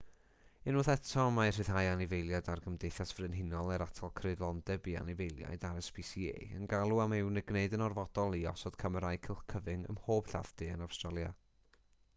unwaith eto mae rhyddhau anifeiliaid a'r gymdeithas frenhinol er atal creulondeb i anifeiliaid rspca yn galw am ei gwneud yn orfodol i osod camerâu cylch cyfyng ym mhob lladd-dy yn awstralia